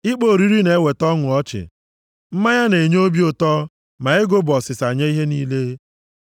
Ịkpọ oriri na-eweta ọnụ ọchị, mmanya na-enye obi ụtọ, ma ego bụ ọsịsa nye ihe niile.